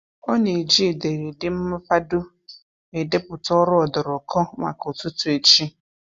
Ọ na-eji ederede mmapado edeputa ọrụ ọdụrụkọ maka ụtụtụ echi.